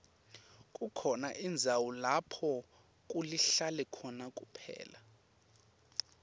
kukhona indzawo lapho kulihlane khona kuphela